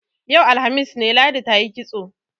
Yau, alhamis ne, Ladi ta yi kitso.